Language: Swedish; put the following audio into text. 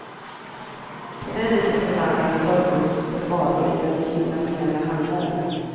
På det viset förvandlas stöldgods till varor i den internationella handeln.